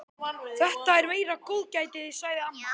Þetta er meira góðgætið, sagði amma.